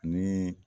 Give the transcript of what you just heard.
Ni